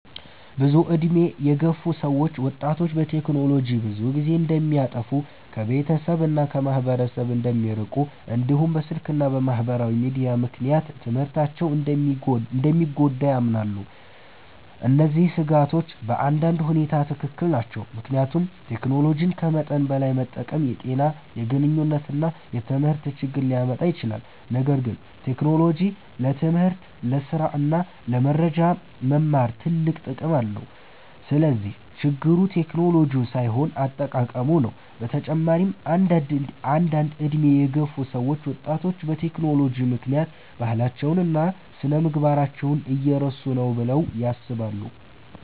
ብዙ ዕድሜ የገፉ ሰዎች ወጣቶች በቴክኖሎጂ ብዙ ጊዜ እንደሚያጠፉ፣ ከቤተሰብ እና ከማህበረሰብ እንደሚርቁ፣ እንዲሁም በስልክ እና በማህበራዊ ሚዲያ ምክንያት ትምህርታቸው እንደሚጎዳ ያምናሉ። እነዚህ ስጋቶች በአንዳንድ ሁኔታ ትክክል ናቸው፣ ምክንያቱም ቴክኖሎጂን ከመጠን በላይ መጠቀም የጤና፣ የግንኙነት እና የትምህርት ችግር ሊያመጣ ይችላል። ነገር ግን ቴክኖሎጂ ለትምህርት፣ ለስራ እና ለመረጃ መማር ትልቅ ጥቅም አለው። ስለዚህ ችግሩ ቴክኖሎጂው ሳይሆን አጠቃቀሙ ነው። በተጨማሪም አንዳንድ ዕድሜ የገፉ ሰዎች ወጣቶች በቴክኖሎጂ ምክንያት ባህላቸውን እና ስነ-ምግባራቸውን እየረሱ ነው ብለው ያስባሉ።